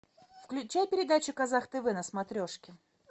включай передачу казах тв на смотрешке